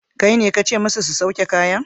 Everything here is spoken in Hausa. Kaine kace musu su sauke kayan?